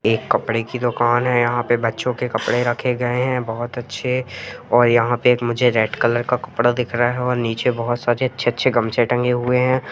एक कपड़े की दुकान है यहां पे बच्चों के कपड़े रखे गए हैं बहोत अच्छे ओर यहां पे मुझे एक रेड कलर का कपड़ा दिख रहा हे ओर नीचे बहोत सारे अच्छे-अच्छे गमछे टंगे हुए हैं ।